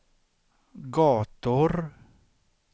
gator